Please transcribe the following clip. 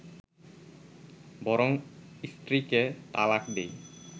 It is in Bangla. বরং স্ত্রীকে তালাক দেয়